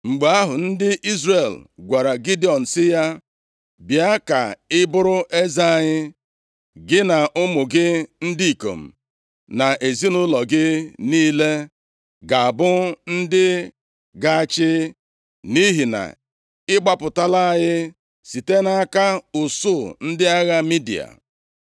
Mgbe ahụ, ndị Izrel gwara Gidiọn sị ya, “Bịa ka ị bụrụ eze anyị! Gị na ụmụ gị ndị ikom, na ezinaụlọ gị niile, ga-abụ ndị ga-achị, nʼihi na ị gbapụtala anyị site nʼaka usuu ndị agha Midia.”